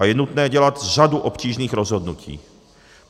A je nutné dělat řadu obtížných rozhodnutí.